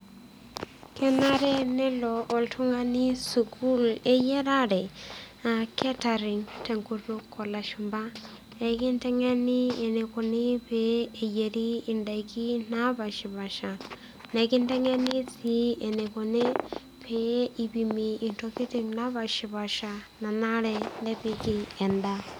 Kenare nelo oltungani sukuul eyiarare aa catering tenkutuk olashumba pekintengeni enikoni peyieri indaikin napashpasha nekintengen sii peyie peipimpim intokitin naapashpasha nanare nepiki endaa.